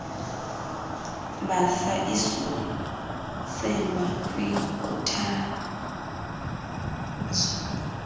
mbasa isuselwa kwinkuthazo